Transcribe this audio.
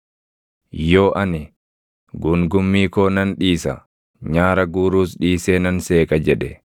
Yoo ani, ‘Guungummii koo nan dhiisa; nyaara guuruus dhiisee nan seeqa’ jedhe,